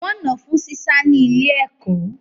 Wọ́n nà án fún sísá ní ilé-ẹ̀kọ́